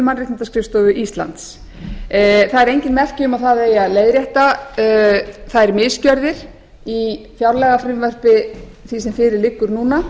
mannréttindaskrifstofu íslands það eru engin merki um að það eigi að leiðrétta þær misgjörðir í fjárlagafrumvarpi því sem fyrir liggur núna